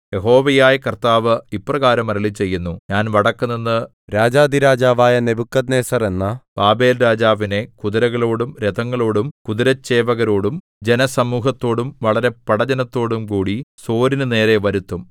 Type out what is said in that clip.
യഹോവയായ കർത്താവ് ഇപ്രകാരം അരുളിച്ചെയ്യുന്നു ഞാൻ വടക്കുനിന്ന് രാജാധിരാജാവായ നെബൂഖദ്നേസർ എന്ന ബാബേൽരാജാവിനെ കുതിരകളോടും രഥങ്ങളോടും കുതിരച്ചേവകരോടും ജനസമൂഹത്തോടും വളരെ പടജ്ജനത്തോടും കൂടി സോരിനുനേരെ വരുത്തും